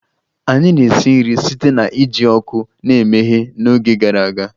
Anyị na-esi nri site na iji ọkụ na-emeghe n'oge gara aga